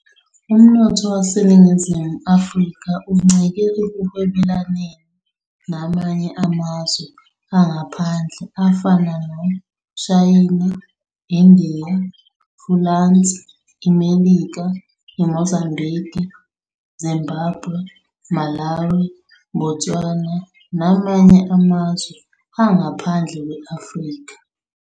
Umnotho weNingizimu Afrika uncike ekuhwebelaneni namanye amazwe angaphandle afana noShayina, Indiya, Fulansi, iMelika, Mozambigi, Zimbabwe, Malawi, Botswana namanye amazwe angaphandle kwe-Afrika.